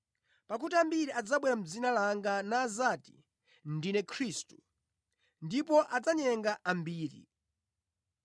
Pakuti ambiri adzabwera mʼdzina langa nadzati, ‘Ndine Khristu,’ ndipo adzanyenga ambiri.